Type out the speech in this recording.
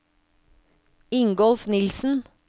Ingolf Nilsen